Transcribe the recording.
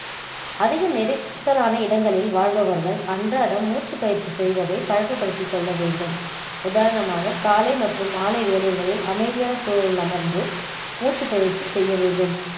அதிக நெரிசலான இடங்களில் வாழ்பவர்கள் அன்றாடம் மூச்சு பயிற்சி செய்வதை பழக்கப்படுத்தி கொள்ள வேண்டும் உதாரணமாக காலை மற்றும் மாலை வேலைகளில் அமைதியான சூழலில் அமர்ந்து மூச்சு பயிர்ச்சி செய்ய வேண்டும்